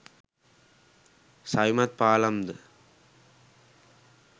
සවිමත් පාලම් ද